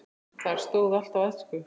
Þar stóð allt á ensku.